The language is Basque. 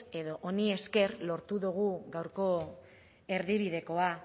edo honi esker lortu dugu gaurko erdibidekoa